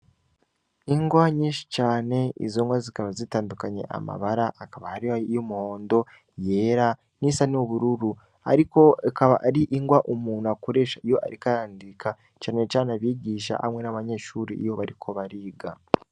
Ingwa nyinshi cane izongwa zikaba zitandukanye amabara akaba harihiyo umuhondo yera n'isa ni ubururu, ariko akaba ari ingwa umuntu akuresha iyo arikarandika canecane abigisha hamwe n'abanyeshuri iyo bariko bariga.